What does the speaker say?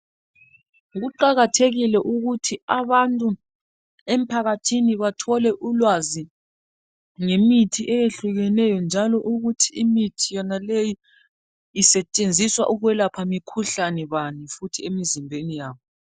Kuqakathekile ukuthi abantu emphakathini bathole ulwazi ngemithi eyehlukeneyo njalo ukuthi imithi yonaleyi isetshenziswa ukwelapha mikhuhlane bani futhi emizimbeni yabo.